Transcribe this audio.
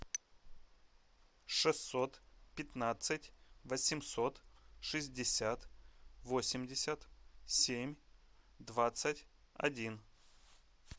шестьсот пятнадцать восемьсот шестьдесят восемьдесят семь двадцать один